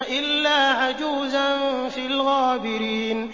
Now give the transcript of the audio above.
إِلَّا عَجُوزًا فِي الْغَابِرِينَ